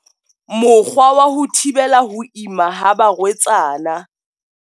Mokgwa wa ho thibela ho ima ha barwetsana.